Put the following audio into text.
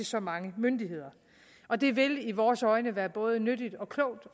så mange myndigheder og det vil i vores øjne være både nyttigt og klogt